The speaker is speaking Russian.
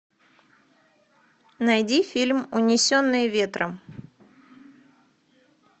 найди фильм унесенные ветром